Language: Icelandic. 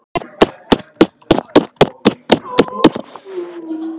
Ekki brot á vinnulöggjöf